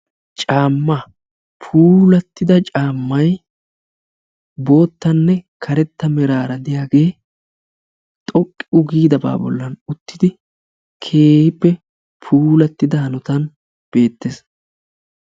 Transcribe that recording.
Caama, puulatida caamay boottanne karetta meraara diyaage xoqqu giidaba bollan uttidi keehippe puulattida hanotan beettees.